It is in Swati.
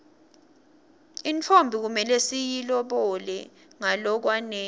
intfombi kumele siyilobole ngalokwanele